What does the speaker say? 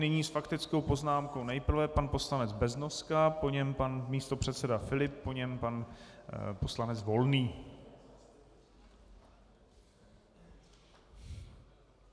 Nyní s faktickou poznámkou nejprve pan poslanec Beznoska, po něm pan místopředseda Filip, po něm pan poslanec Volný.